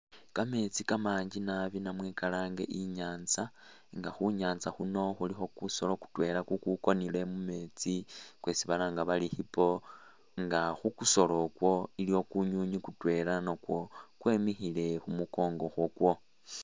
Kametsi kamangi naabi namwe kalange inyantsa nga khunyatsa khuno khulikho kusolo kutwela kukukonele mumetsi kwesi balanga bari hippo nga kukusolpkwo iliwo kunyunyi kutwela nakwo kwemikhile khumukongo kwekwo